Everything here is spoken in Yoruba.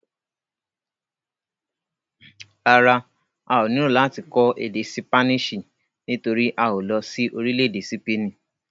Rárá, a ò nílò láti kọ́ èdè ṣípánísì nítorí a ò lọ sí orílẹ̀-èdè sípènì.